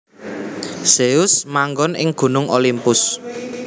Zeus manggon ing Gunung Olimpus